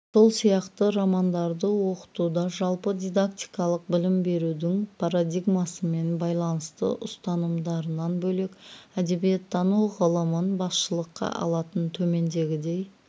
сол сияқты романдарды оқытуда жалпы дидактикалық білім берудің парадигмасымен байланысты ұстанымдарынан бөлек әдебиеттану ғылымын басшылыққа алатын төмендегідей